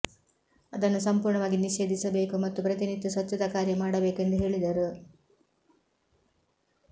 ಅದನ್ನು ಸಂಪೂರ್ಣವಾಗಿ ನಿಷೇಧಿಸಬೇಕು ಮತ್ತು ಪ್ರತಿನಿತ್ಯ ಸ್ವಚ್ಛತಾ ಕಾರ್ಯ ಮಾಡಬೇಕು ಎಂದು ಹೇಳಿದರು